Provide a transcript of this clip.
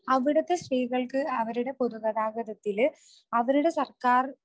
അവിടുത്തെ സ്ത്രീകൾക്ക് അവരുടെ പൊതുഗതാഗതത്തിൽ അവരുടെ സർക്കാർ